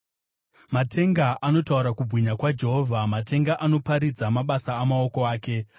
Matenga anotaura kubwinya kwaMwari; matenga anoparidza mabasa amaoko ake.